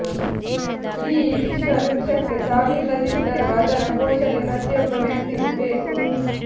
ಈ ವಿಶ್ವ ವೃಕ್ಷಕ್ಕೆ ಸಾವಿಲ್ಲದಿದ್ದರೂ ಅದರ ಪೋಷಣೆ ಪ್ರತಿಯಾಬ್ಬ ವ್ಯಕ್ತಿಗೂ ಬೇಕು